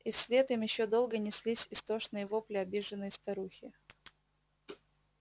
и вслед им ещё долго неслись истошные вопли обиженной старухи